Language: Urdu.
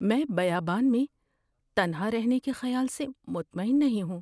میں بیابان میں تنہا رہنے کے خیال سے مطمئن نہیں ہوں۔